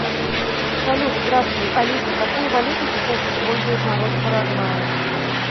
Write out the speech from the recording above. салют здравствуй алиса какую валюту сейчас использует народ в парагвае